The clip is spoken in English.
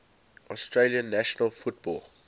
australian national football